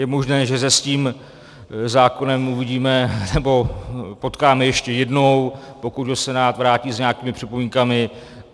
Je možné, že se s tím zákonem uvidíme nebo potkáme ještě jednou, pokud ho Senát vrátí s nějakými připomínkami.